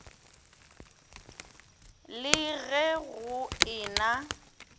le ge go e na